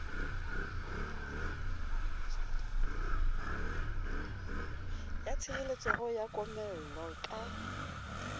ya tshireletseho ya komello ka